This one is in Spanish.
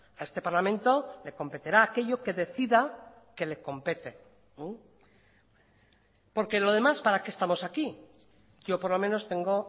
a este parlamento le competerá aquello que decida que le compete porque lo demás para qué estamos aquí yo por lo menos tengo